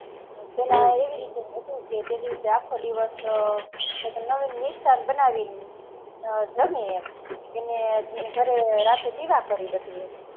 પેહલા એવી રીતે હતું તે દિવસ આખો દિવસ નવી મિષ્ટાન બાનાવી જમે એમ એને ઘરે રાતે દીવો કરે